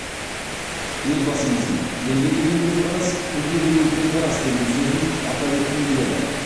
елбасымыздың елге деген көзқарас тілге деген көзқарас деген сөзін атап өткім келеді